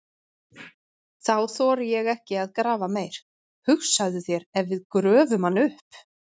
Þá þori ég ekki að grafa meir, hugsaðu þér ef við gröfum hann upp!